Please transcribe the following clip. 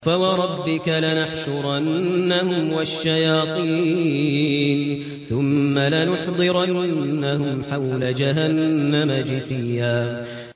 فَوَرَبِّكَ لَنَحْشُرَنَّهُمْ وَالشَّيَاطِينَ ثُمَّ لَنُحْضِرَنَّهُمْ حَوْلَ جَهَنَّمَ جِثِيًّا